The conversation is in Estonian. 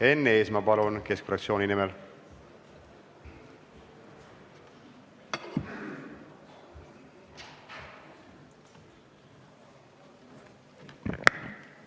Enn Eesmaa Keskerakonna fraktsiooni nimel, palun!